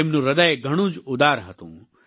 તેમનું હ્રદય ઘણું જ ઉદાર હતું